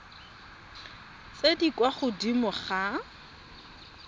tse di kwa godimo ga